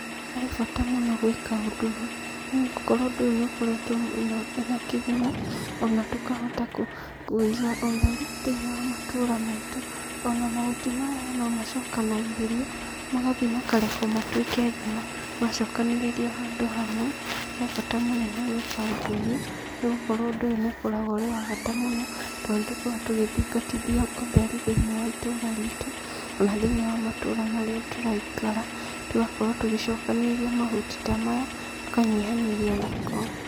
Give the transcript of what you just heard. Harĩ bata mũno gwĩka ũndũ ũyũ, nĩ gũkorwo ũndũ ũyũ nĩ ũkoretwo mũno wĩna kĩguni, ona tũkahota kũiga ũtheru thĩinĩ wa matũra maitũ, ona mahuti maya no macokanagĩrĩrio, magathiĩ makarekwo matuĩke thumu macokanĩrĩrio handũ hamwe, he bata mũnene gwĩka ũndũ ũyũ, nĩ gũkorwo ũndũ ũyũ nĩ ũkoragwo ũrĩ wa bata mũno, tondũ nĩtukoragwo tũgĩthingatithia ũtheru thĩinĩ wa itũũra ritũ, ona thĩinĩ wa matũra marĩa tũraikara, tũgakorwo tũgĩcokanĩrĩria mahuti ta maya, tũkanyihanyihia gĩko.